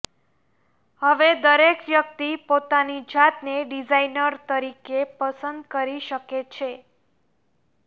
હવે દરેક વ્યક્તિ પોતાની જાતને ડિઝાઇનર તરીકે પસંદ કરી શકે છે